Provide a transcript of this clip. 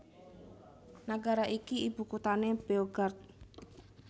Nagara iki ibukuthané Beograd